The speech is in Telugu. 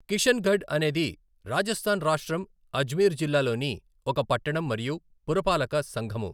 కిషన్గఢ్ అనేది రాజస్థాన్ రాష్ట్రం, అజ్మీర్ జిల్లాలోని ఒక పట్టణం మరియు పురపాలక సంఘము.